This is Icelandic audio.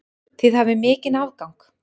Þið hafið mikinn afgang.